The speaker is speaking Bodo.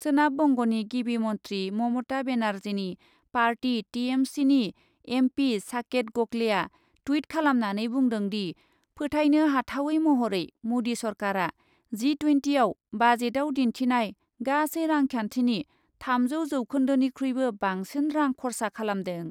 सोनाब बंग'नि गिबि मन्थ्रि ममता बेनार्जीनि पार्टी टिएमसिनि एमपि साकेट गकलेआ टुइट खालामनानै बुंदोंदि , फोथाइनो हाथावै महरै मदि सरकारा जि ट्वेन्टिआव बाजेटआव दिन्थिनाय गासै रांखान्थिनि थामजौ जौखोन्दोनिख्रुइबो बांसिन रां खरसा खालामदों ।